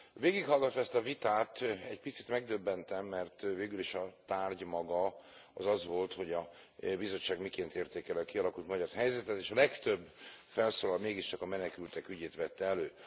Végighallgatva ezt a vitát, egy picit megdöbbentem, mert végül is a tárgy maga az az volt, hogy a Bizottság miként értékeli a kialakult magyar helyzetet, és a legtöbb felszólaló mégiscsak a menekültek ügyét vette elő.